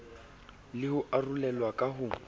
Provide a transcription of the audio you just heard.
le ho arolelwa ka ho